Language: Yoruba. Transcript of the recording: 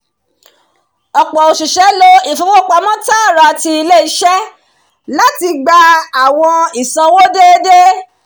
ọ̀pọ̀ òṣìṣẹ́ lo ìfowópamọ́ tààrà ti ilé-iṣẹ́ láti gba àwọn ìsanwó déédéé